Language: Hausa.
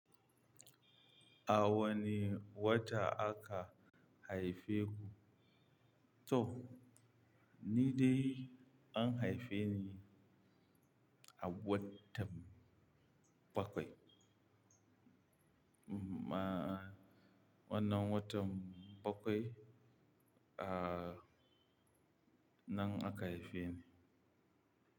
A wane wata aka haife ku? To, ni dai an haife ni a watan bakwai. Ma, wannan watan bakwai, aa, nan aka haife ni.